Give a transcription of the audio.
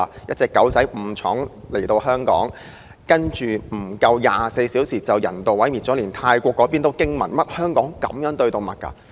那隻誤闖香港的小狗，竟在不足24小時間被人道毀滅，連泰國也驚訝於香港竟然如此對待動物。